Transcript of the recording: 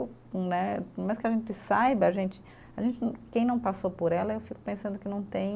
Né, por mais que a gente saiba, a gente, a gente, quem não passou por ela, eu fico pensando que não tem